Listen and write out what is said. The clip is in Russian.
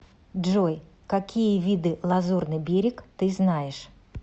джой какие виды лазурный берег ты знаешь